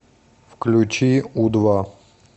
включи у два